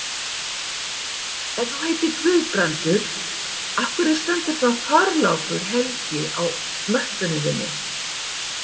Ef þú heitir Guðbrandur, af hverju stendur þá Þorlákur helgi á möppunni þinni?